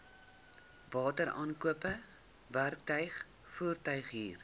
wateraankope werktuig voertuighuur